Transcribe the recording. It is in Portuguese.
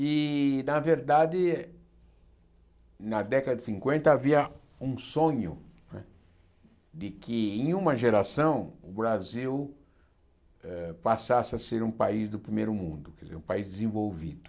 E, na verdade, na década de cinquenta havia um sonho não é de que, em uma geração, o Brasil passasse a ser um país do primeiro mundo entendeu, um país desenvolvido.